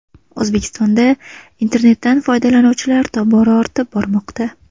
O‘zbekistonda internetdan foydalanuvchilar tobora ortib bormoqda.